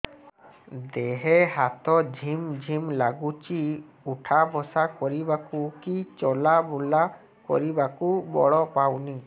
ଦେହେ ହାତ ଝିମ୍ ଝିମ୍ ଲାଗୁଚି ଉଠା ବସା କରିବାକୁ କି ଚଲା ବୁଲା କରିବାକୁ ବଳ ପାଉନି